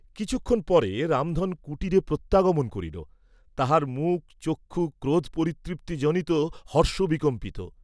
কিছুক্ষণ পরে রামধন কুটিরে প্রত্যাগমন করিল; তাহার মুখচক্ষু ক্রোধ পরিতৃপ্তিজনিত হর্ষবিকম্পিত।